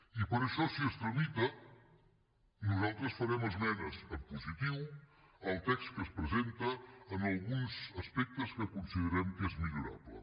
i per això si es tramita nosaltres hi farem esmenes en positiu al text que es presenta en alguns aspectes que considerem que és millorable